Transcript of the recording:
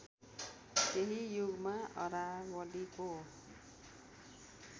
त्यही युगमा अरावलीको